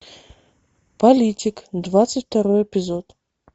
политик двадцать второй эпизод